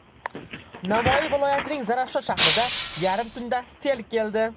Navoiy viloyatining Zarafshon shahrida yarim tunda sel keldi.